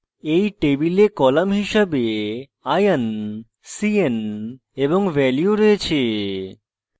এই table column হিসাবে ion c n এবং value রয়েছে